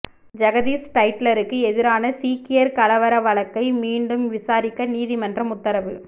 ஜெகதீஷ் டைட்லருக்கு எதிரான சீக்கியர் கலவர வழக்கை மீண்டும் விசாரிக்க நீதிமன்றம் உத்தரவு